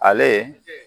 Ale